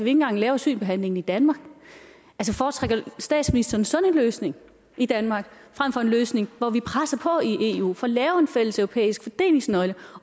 engang lave asylbehandlingen i danmark foretrækker statsministeren sådan en løsning i danmark frem for en løsning hvor vi presser på i eu får lavet en fælleseuropæisk fordelingsnøgle